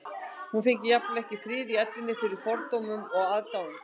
Hún fengi jafnvel ekki frið í ellinni fyrir fordómum og aðdáun